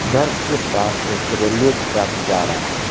घर के पास एक रेलवे ट्रैक जा रहा है।